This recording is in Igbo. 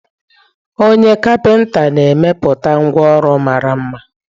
Onye kapinta na-emepụta ngwá ụlọ mara mma.